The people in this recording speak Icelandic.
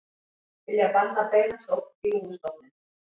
Vilja banna beina sókn í lúðustofninn